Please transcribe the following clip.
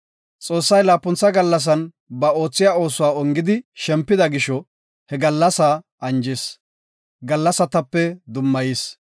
Xoossay laapuntha gallasan ba oothiya oosuwa ongidi shempida gisho he gallasaa anjis; gallasatape dummayis.